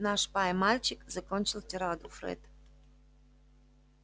наш пай-мальчик закончил тираду фред